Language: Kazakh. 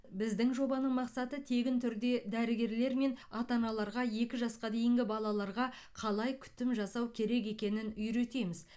біздің жобаның мақсаты тегін түрде дәрігерлер мен ата аналарға екі жасқа дейінгі балаларға қалай күтім жасау керек екенін үйретеміз